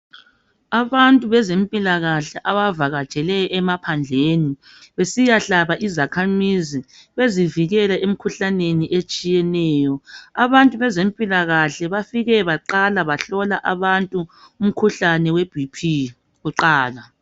Abantu bezempilakahle bavatshele emaphandleni besiya hlaba izakhamizi bezivikela emkhuhlaneni etshiyeneyo , abantu bezempilakahle bafike baqala bahlola abantu umkhuhlane weBp kuqala.